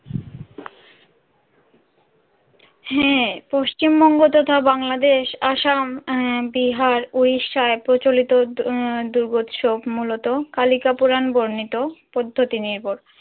হ্যাঁ পশ্চিমবঙ্গ তথা বাংলাদেশ আসাম বিহার উড়িষ্যায় প্রচলিত দুর্গোৎসব মূলত কালিকা পুরান বর্ণিত পদ্ধতি নির্ভর।